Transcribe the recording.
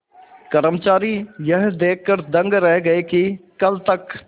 कर्मचारी यह देखकर दंग रह गए कि कल तक